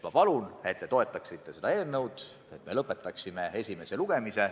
Ma palun, et te toetaksite seda eelnõu ja et me lõpetaksime esimese lugemise.